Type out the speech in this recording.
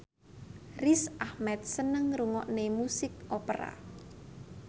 Riz Ahmed seneng ngrungokne musik opera